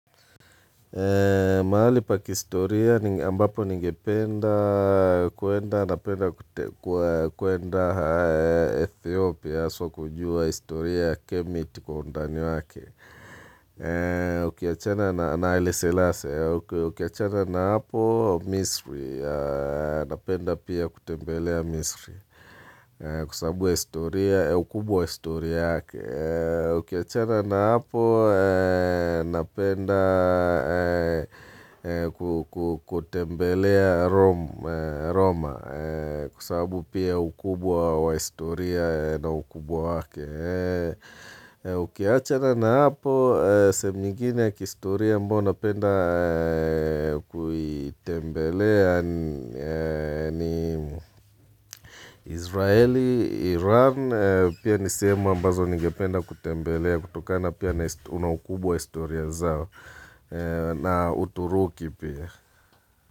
Mahali pa kihistoria ambapo ningependa kwenda Ethiopia haswa kujua historia ya kemiti kwa undani wake. Ukiachana na haile selasi, ukiachana na hapo Misri, napenda pia kutembelea Misri kwa sababu ya historia, ya ukubwa wa historia yake. Ukiachana na hapo, napenda kutembelea Roma, kwa sababu pia ukubwa wa historia na ukubwa wake. Ukiachana na hapo, sehemu nyingine ya kihistoria ambao napenda kuitembelea ni Israeli, Iran, Pia ni sehemu ambazo ningependa kutembelea kutokana pia na ukubwa wa historia zao na uturuki pia.